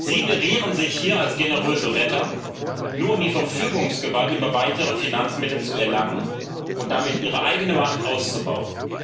Sie gerieren sich hier als generöse Retter, nur um die Verfügungsgewalt über weitere Finanzmittel zu erlangen und damit Ihre eigene Macht auszubauen.